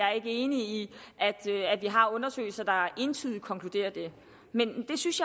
er enig i at vi har undersøgelser der entydigt konkluderer det men jeg synes